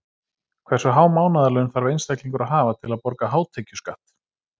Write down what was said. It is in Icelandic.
Hversu há mánaðarlaun þarf einstaklingur að hafa til að borga hátekjuskatt?